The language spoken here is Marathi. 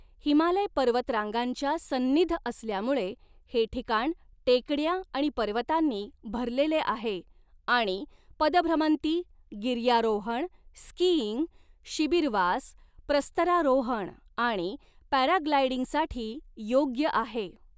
हिमालय पर्वतरांगांच्या सन्निध असल्यामुळे, हे ठिकाण टेकड्या आणि पर्वतांनी भरलेले आहे आणि पदभ्रमंती, गिर्यारोहण, स्कीइंग, शिबीरवास, प्रस्तरारोहण आणि पॅराग्लायडिंगसाठी योग्य आहे.